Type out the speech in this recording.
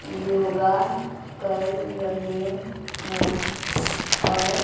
योगा कर रहे हैं और--